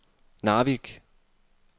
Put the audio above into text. Narvik